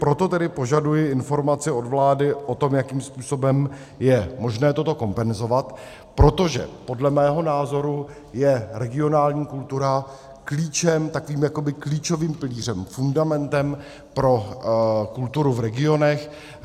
Proto tedy požaduji informaci od vlády o tom, jakým způsobem je možné toto kompenzovat, protože podle mého názoru je regionální kultura klíčem, takovým jakoby klíčovým pilířem, fundamentem pro kulturu v regionech.